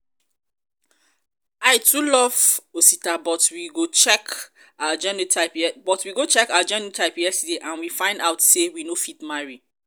i too love osita but we go check our genotype yesterday and we find out say we no fit marry